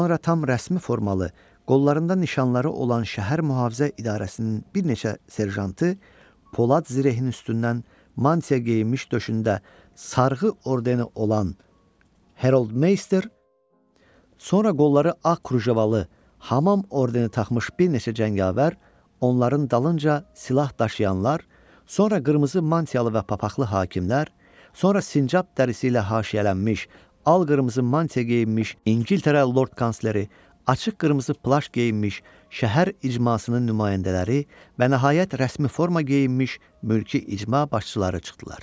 Sonra tam rəsmi formalı, qollarında nişanları olan şəhər mühafizə idarəsinin bir neçə serjantı, polad zirihinin üstündən mantiya geyinmiş döşündə sarğı ordeni olan Herold Meyster, sonra qolları ağ krujavalı, hamam ordeni taxmış bir neçə cəngavər, onların dalınca silah daşıyanlar, sonra qırmızı mantiyalı və papaqılı hakimlər, sonra sincab dərisi ilə haşiyələnmiş, alqırmızı mantiya geyinmiş İngiltərə lord kansleri, açıq qırmızı plaş geyinmiş, şəhər icmasının nümayəndələri və nəhayət rəsmi forma geyinmiş mülki icma başçıları çıxdılar.